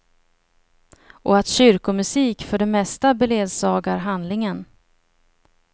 Och att kyrkomusik för det mesta beledsagar handlingen.